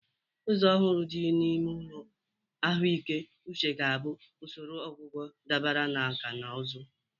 Ụzọ ọhụrụ dị n'ime ụlọ ahụike uche ga-abụ usoro ọgwụgwọ dabere na nkà na ụzụ.